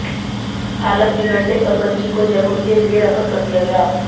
हालत बिगड़ने पर बच्ची को जयपुर के लिए रेफर कर दिया गया